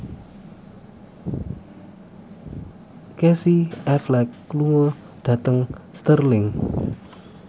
Casey Affleck lunga dhateng Stirling